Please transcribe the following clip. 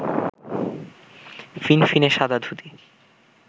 ফিনফিনে সাদা ধুতি